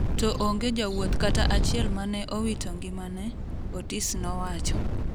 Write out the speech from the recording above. to onge jawuoth kata achiel mane owito ngimane, Otis nowacho